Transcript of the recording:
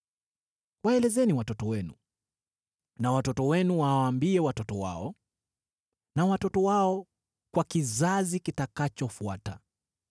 Waelezeni watoto wenu, na watoto wenu wawaambie watoto wao, na watoto wao kwa kizazi kitakachofuata.